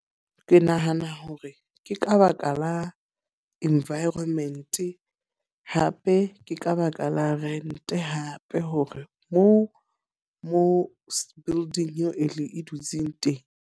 Ke nahana hore ke ka baka la environment. Hape ke ka baka la rent hape hore mo mo bulding eo e le e dutseng teng.